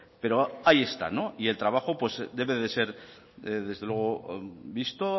pero ahí está y el trabajo debe de ser desde luego visto